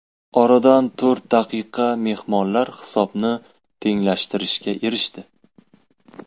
Oradan to‘rt daqiqa mehmonlar hisobni tenglashtirishga erishdi.